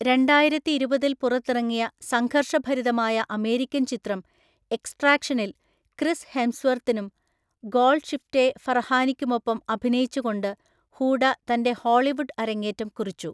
രണ്ടായിരത്തിഇരുപതിൽ പുറത്തിറങ്ങിയ സംഘർഷഭരിതമായ അമേരിക്കൻ ചിത്രം എക്സ്ട്രാക്ഷനിൽ ക്രിസ് ഹെംസ്വർത്തിനും, ഗോൾഡ്ഷിഫ്റ്റെ ഫറഹാനിക്കുമൊപ്പം അഭിനയിച്ചുകൊണ്ട് ഹൂഡ തൻ്റെ ഹോളിവുഡ് അരങ്ങേറ്റം കുറിച്ചു.